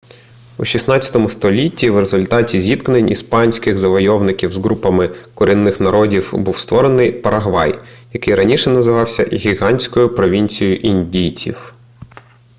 у 16 столітті в результаті зіткнень іспанських завойовників з групами корінних народів був створений парагвай який раніше називався гігантською провінцією індійців